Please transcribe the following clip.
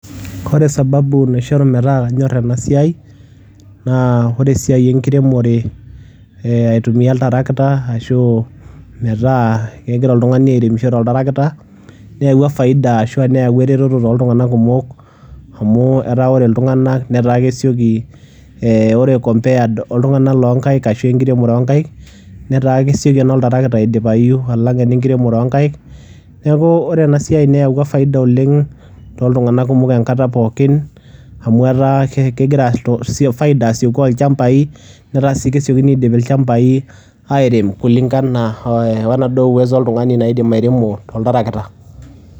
Koree sababu naishoruu metaa kanyorr ena Siai naa oree esiai enkiremore alitumia oltiractor ashuu meeta kegirae oltungani airemisho to tractor neyawua faida ashuu asshu nayawua ereteto toltunganak kumok amu eataa koree iltunanak kesioki ore compared po tungnak loo ngaik ooh nkiremore ooh ngaik netaa kesioki eno tracter aidipayu alang enkiremore ooh ngaik neeku iyiolo ena Siai neyawua faida toltunganak engataa pooki amu etaa kesieku faida asieku o llshambai nets ilshambai airem kulingana we naduo uwezo oltungani naidim airemo oltrakitor